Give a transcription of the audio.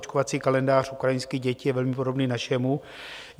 Očkovací kalendář ukrajinských dětí je velmi podobný našemu.